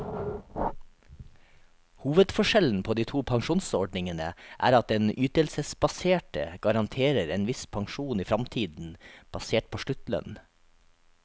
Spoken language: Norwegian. Hovedforskjellen på de to pensjonsordningene er at den ytelsesbaserte garanterer en viss pensjon i fremtiden, basert på sluttlønn.